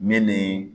Ne ni